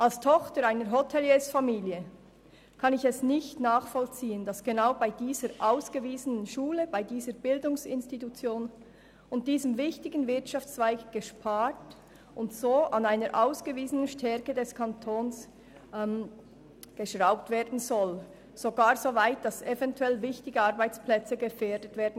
Als Tochter einer Hoteliers-Familie kann ich nicht nachvollziehen, dass genau bei dieser ausgewiesenen Schule, bei dieser Bildungsinstitution und diesem wichtigen Wirtschaftszweig gespart und so an einer ausgewiesenen Stärke des Kantons herumgeschraubt werden soll, und zwar so weit, dass eventuell wichtige Arbeitsplätze gefährdet werden.